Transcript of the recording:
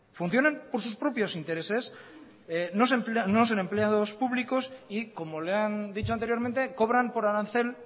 funcionan por sus propios intereses no son empleados públicos y como le han dicho anteriormente cobran por arancel